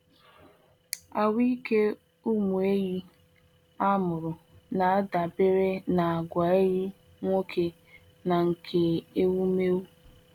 Ahụ́ike ụmụ ehi a mụrụ na-adabere na àgwà ehi nwoke na nke ewumewụ.